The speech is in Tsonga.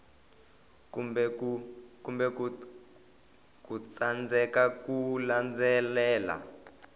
kumbe ku tsandzeka ku landzelela